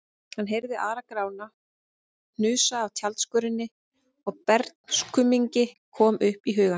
Hann heyrði Ara-Grána hnusa af tjaldskörinni og bernskuminning kom upp í hugann.